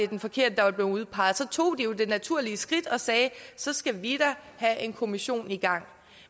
den forkerte der var blevet udpeget så tog de det naturlige skridt og sagde så skal vi da have en kommission i gang